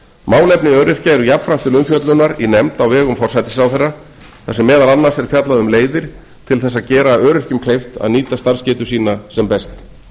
málefni öryrkja eru jafnframt til umfjöllunar í nefnd á vegum forsætisráðherra þar sem meðal annars er fjallað um leiðir til þess að gera öryrkjum kleift að nýta starfsgetu sína sem mest hér